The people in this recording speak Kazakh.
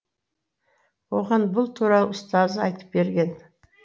оған бұл туралы ұстазы айтып берген